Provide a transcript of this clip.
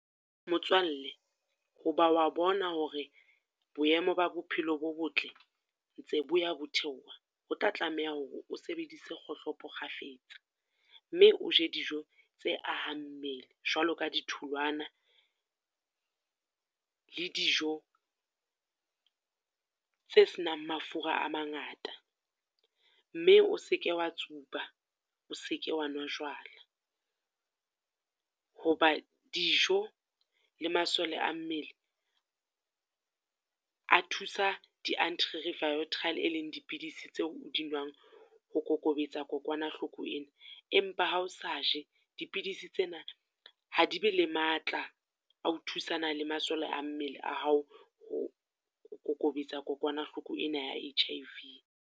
Motswalle ho ba o wa bona hore boemo ba bophelo bo botle, ntse bo ya bo theoha. Ho tla tlameha hore o sebedise kgohlopo kgafetsa, mme o je dijo tse ahang mmele. Jwalo ka di tholwana le dijo tse senang mafura a mangata, mme o seke wa tsuba, o seke wa nwa jwala. Ho ba dijo le masole a mmele a thusa di antiretroviral leng dipidisi tseo o di nwang ho kokobetsa kokwanahloko ena. Empa ha o sa je, dipidisi tsena ha di be le matla ao thusana le masole a mmele a hao, ho kokobetsa kokwanahloko ena ya H_I_V.